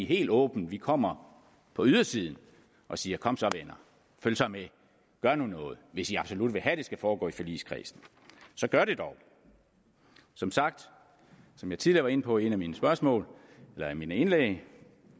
helt åbent vi kommer på ydersiden og siger kom så venner følg så med gør nu noget hvis i absolut vil have at det skal foregå i forligskredsen så gør det dog som sagt som jeg tidligere inde på i et af mine spørgsmål eller mine indlæg